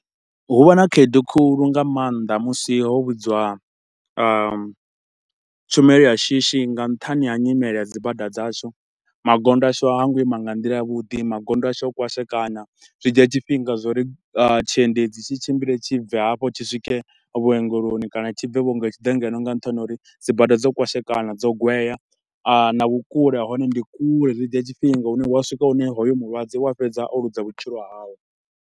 Hu vha na khaedu khulu nga maanḓa musi ho vhudzwa ahm tshumelo ya shishi nga nṱhani ha nyimele ya dzibada dzashu. Magondo ashu ha ngo ima nga nḓila ya vhuḓi, magondo ashu o kwashekana. Zwi dzhia tshifhinga zwa uri tshiendedzi tshi tshimbile tshibve hafho tshi swike vhuongeloni kana tshibve vhuengeloni tshi ḓe ngeno nga nṱhani ha uri dzibada dzo kwashekana, dzo gwea na vhukule hahone ndi kule, zwi dzhia tshifhinga hune hu a swika hune hoyo mulwadze u a fhedza o luza vhutshilo hawe.